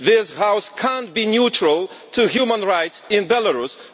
This House cannot be neutral on human rights in Belarus.